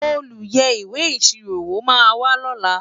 olú yé ìwé ìṣirò wò má wà ló là